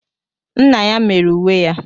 Nna ya mere uwe ya.